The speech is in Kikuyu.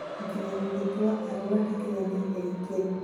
Mũikarĩri gĩtĩ wa Arua ndakinyanĩitie ikĩro